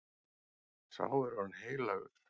Sá er orðinn heilagur.